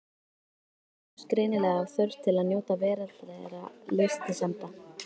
Þeir stjórnuðust greinilega af þörf til að njóta veraldlegra lystisemda.